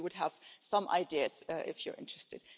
We would have some ideas if you were interested.